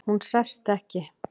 Hún sest ekki.